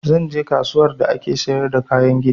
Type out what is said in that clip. Zan je kasuwar da ake siyar da kayan gini